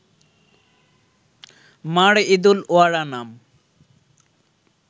মার ঈদুল ওয়ারা নাম